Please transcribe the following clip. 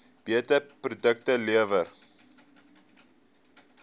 beter produkte lewer